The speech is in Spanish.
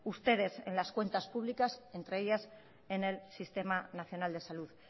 ustedes en las cuentas públicas entre ellas en el sistema nacional de salud